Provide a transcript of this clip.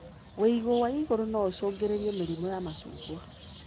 Wĩigũ wa igũrũ noũcungĩrĩre mĩrimũ ya macungwa.